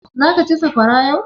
Zaka ci sakwara yau?